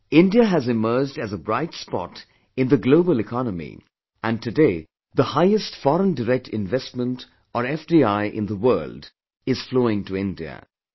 Today India has emerged as a bright spot in the global economy and today the highest foreign direct investment or FDI in the world, is flowing to India